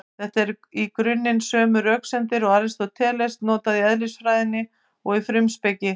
Þetta eru í grunninn sömu röksemdir og Aristóteles notaði í Eðlisfræðinni og Frumspekinni.